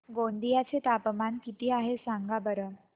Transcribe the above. गोंदिया चे तापमान किती आहे सांगा बरं